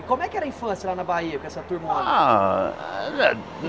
E como é que era a infância lá na Bahia, com essa turma? Ah eh